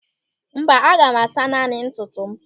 Mba, aga m asa naanị ntutu m.